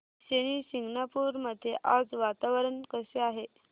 शनी शिंगणापूर मध्ये आज वातावरण कसे आहे